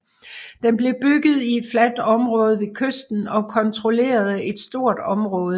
Den blev bygget i et fladt område ved kysten og kontrollerede et stort område